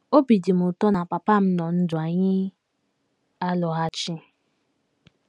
Obi dị m ụtọ na papa m nọ ndụ anyị alọghachi.